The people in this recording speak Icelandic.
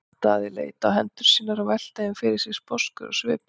Daði leit á hendur sínar og velti þeim fyrir sér sposkur á svipinn.